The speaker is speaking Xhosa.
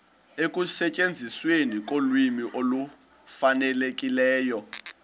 ekusetyenzisweni kolwimi olufanelekileyo